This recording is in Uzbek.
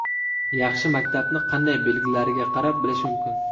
Yaxshi maktabni qanday belgilariga qarab bilish mumkin?.